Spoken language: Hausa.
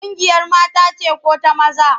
Ƙungiyar mata ce ko da maza?